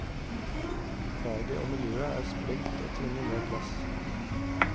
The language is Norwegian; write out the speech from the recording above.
Faget og miljøet er sprengt og trenger mer plass.